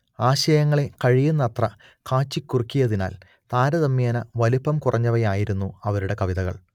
ആശയങ്ങളെ കഴിയുന്നത്ര കാച്ചിക്കുറുക്കിയതിനാൽ താരതമ്യേന വലിപ്പം കുറഞ്ഞവയായിരുന്നു അവരുടെ കവിതകൾ